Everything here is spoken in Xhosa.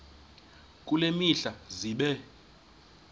kule mihla zibe